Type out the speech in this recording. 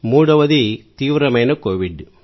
మూడవది తీవ్రమైన కోవిడ్